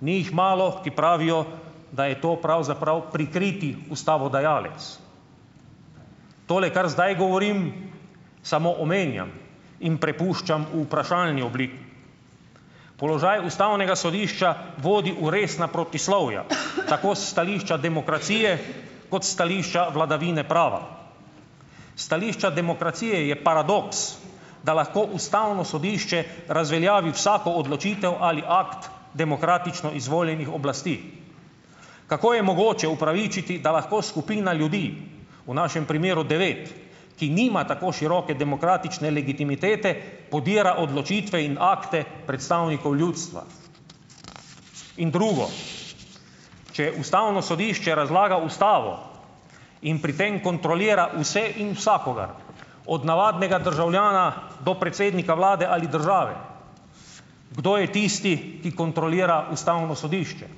Ni jih malo, ki pravijo, da je to pravzaprav prikriti ustavodajalec. Tole, kar zdaj govorim, samo omenjam in prepuščam v vprašalni obliki. Položaj ustavnega sodišča vodi v resna protislovja, tako s stališča demokracije kot s stališča vladavine prava. S stališča demokracije je paradoks, da lahko ustavno sodišče razveljavi vsako odločitev ali akt demokratično izvoljenih oblasti. Kako je mogoče upravičiti, da lahko skupina ljudi, v našem primeru devet, ki nima tako široke demokratične legitimitete, podira odločitve in akte predstavnikov ljudstva? In drugo, če ustavno sodišče razlaga ustavo in pri tem kontrolira vse in vsakogar, od navadnega državljana do predsednika vlade ali države, kdo je tisti, ki kontrolira ustavno sodišče?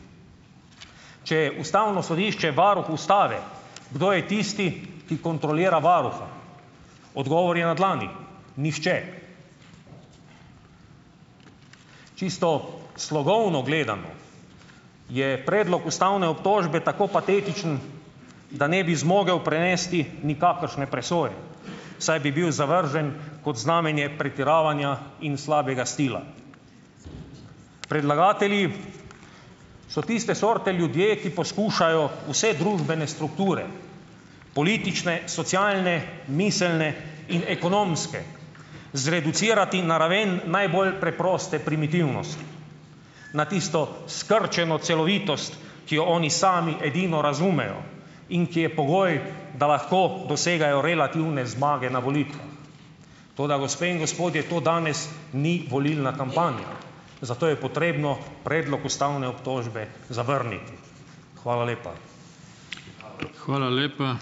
Če je ustavno sodišče varuh ustave, kdo je tisti, ki kontrolira varuha? Odgovor je na dlani. Nihče. Čisto slogovno gledano je predlog ustavne obtožbe tako patetičen, da ne bi zmogel prenesti nikakršne presoje, saj bi bil zavržen kot znamenje pretiravanja in slabega stila. Predlagatelji so tiste sorte ljudje, ki poskušajo vse družbene strukture, politične, socialne, miselne in ekonomske, zreducirati na raven najbolj preproste primitivnosti na tisto skrčeno celovitost, ki jo oni sami edino razumejo in ki je pogoj, da lahko dosegajo relativne zmage na volitvah. Toda, gospe in gospodje, to danes ni volilna kampanja, zato je potrebno predlog ustavne obtožbe zavrniti. Hvala lepa.